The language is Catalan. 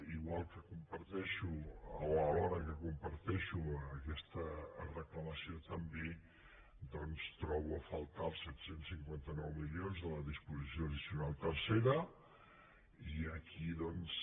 igual que comparteixo o alhora que comparteixo aquesta reclamació també doncs trobo a faltar els set cents i cinquanta nou milions de la disposició addicional tercera i aquí doncs